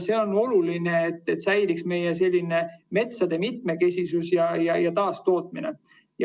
See on oluline selleks, et säiliks meie metsade mitmekesisus ja taastootmine.